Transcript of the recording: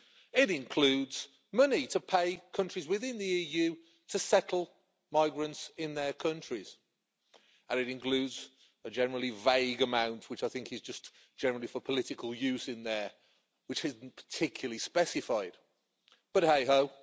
It includes money to pay countries within the EU to settle migrants in their countries, and it includes a generally vague amount which I think is just generally for political use and which isn't particularly specified, but hey ho!